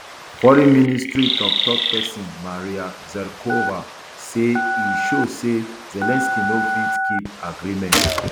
foreign ministry toktok pesin maria zakharova say e show say zelensky no fit keep agreement